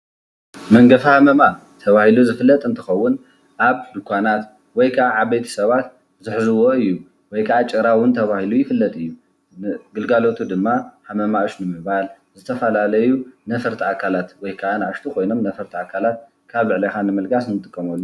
መንገፊ ሃመማ ተባሂሉ ዝፍለጥ እንትኸውን ኣብ ድንዃናት ወይ ዓበይቲ ሰባት ዝሕዝዎ እዩ፡፡ ወይ ከዓ ጭራ እውን ተባሂሉ ይፍለጥ እዩ፡፡ ግልጋሎቱ ድማ ሃመማ ኡሽ ምባል፣ ዝተፈላለዩ ነፈርቲ ኣካላት ወይ ከዓ ኣናእሽቱ ኮይኖም ነፈርቲ ኣካላት ካብ ልዕሌኻ ንምልጋስ ንጥቀመሉ፡፡